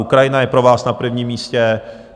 Ukrajina je pro vás na prvním místě.